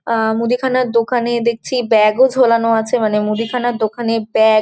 আ মুদিখানার দোকানে দেখছি ব্যাগ -ও ঝোলানো আছে মানে মুদিখানার দোকানে ব্যাগ --